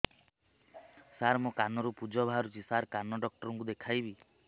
ମୋ କାନରୁ ପୁଜ ବାହାରୁଛି ସାର କାନ ଡକ୍ଟର କୁ ଦେଖାଇବି